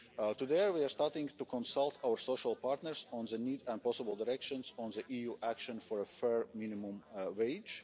reality. Today, we are starting to consult our social partners on the needs and possible directions on the EU action for a fair minimum